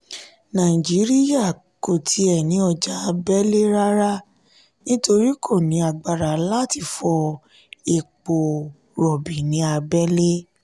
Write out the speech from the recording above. naijiriya kò ti ẹ ní ọjà abẹ́lé rárá nítorí kò ní agbára láti fọ epo rọ̀bì ní ábẹ́lẹ́.